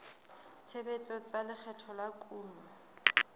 tshebetso tsa lekgetho la kuno